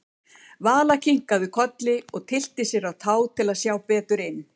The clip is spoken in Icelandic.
Vala kinkaði kolli og tyllti sér á tá til að sjá betur inn.